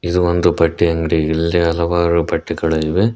ಇದು ಒಂದು ಬಟ್ಟೆ ಅಂಗ್ಡಿ ಇಲ್ಲಿ ಹಲವಾರು ಬಟ್ಟೆಗಳು ಇವೆ.